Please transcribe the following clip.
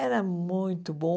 Era muito bom.